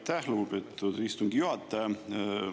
Aitäh, lugupeetud istungi juhataja!